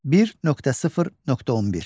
1.0.11.